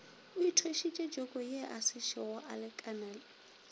o ithwešitše jokoye asešogo alekana